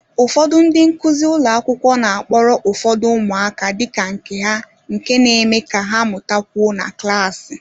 Ụfọdụ ndị nkuzi ụlọ akwụkwọ na-akpọrọ ụfọdụ umuaka dị ka nke ha nke na-eme ka ha mụtakwuo na klaasị